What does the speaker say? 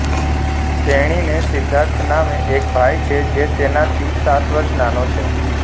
તેણીને સિધ્ધાર્થ નામે એક ભાઈ છે જે તેનાથી સાત વર્ષ નાનો છે